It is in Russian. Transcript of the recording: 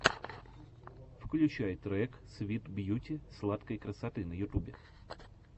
включай трек свит бьюти сладкой красоты на ютубе